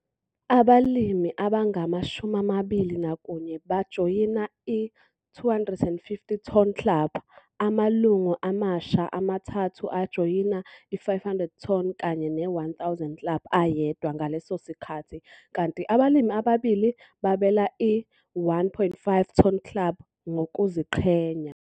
Abalimi abangama-21 bajoyina i-250 Ton Club, amalungu amasha amathathu ajoyina i-500 Ton kanye ne-1 000 club eyedwa ngeleso sikhathi kanti abalimi ababili babela i-1 500 Ton Club ngokuziqhenya.